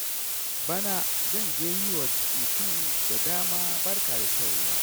Bana zan je yi wa mutane da dama barka da shan ruwa.